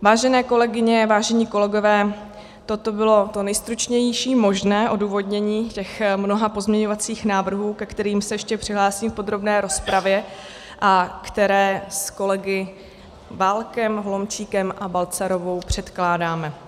Vážené kolegyně, vážení kolegové, toto bylo to nejstručnější možné odůvodnění těch mnoha pozměňovacích návrhů, ke kterým se ještě přihlásím v podrobné rozpravě a které s kolegy Válkem, Holomčíkem a Balcarovou předkládáme.